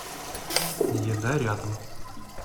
еда рядом